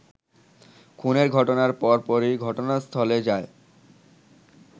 খুনের ঘটনার পরপরই ঘটনাস্থলে যায়